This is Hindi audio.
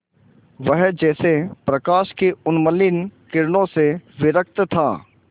वह जैसे प्रकाश की उन्मलिन किरणों से विरक्त था